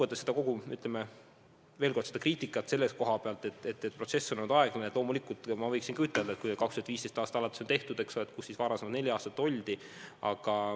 Mis puutub kriitikasse, et protsess on olnud aeglane, siis loomulikult võiksin ka ütelda, et kui 2015. aastast alates on üht-teist tehtud, aga kus siis varasemad neli aastat oldi.